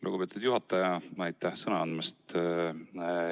Lugupeetud juhataja, aitäh sõna andmast!